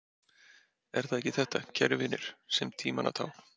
Er það ekki þetta, kæru vinir, sem er tímanna tákn.